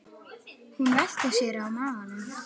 Hún velti sér á magann.